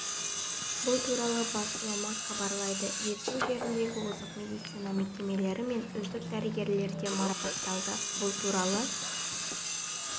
бұл туралы басылымы хабарлайды жетісу жеріндегі озық медицина мекемелері мен үздік дәрігерлер де марапатталды бұл туралы